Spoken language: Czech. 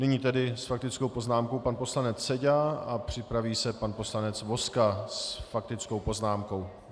Nyní tedy s faktickou poznámkou pan poslanec Seďa a připraví se pan poslanec Vozka s faktickou poznámkou.